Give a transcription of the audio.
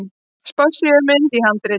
Spássíumynd í handriti.